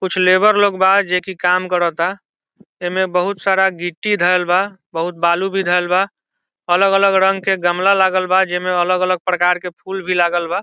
कुछ लेबर लोग वहां जे की काम कराता एमे बहुत सारा गिट्टी धरल बा बहुत बालू भी धरल बा अलग-अलग रंग के गमला लागल बा जे मे अलग-अलग प्रकार के फूल भी लागल बा।